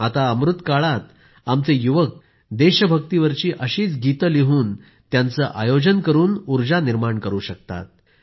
आता अमृतकाळात आमचे युवक देशभक्तिवरील अशीच गीतं लिहून त्यांचं आयोजन करून उर्जा निर्माण करू शकतात